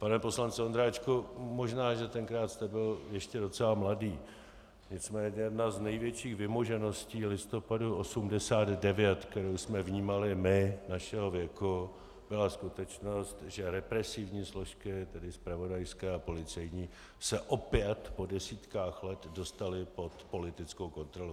Pane poslanče Ondráčku, možná že tenkrát jste byl ještě docela mladý, nicméně jedna z největších vymožeností listopadu 1989, kterou jsme vnímali my našeho věku, byla skutečnost, že represivní složky, tedy zpravodajské a policejní, se opět po desítkách let dostaly pod politickou kontrolu.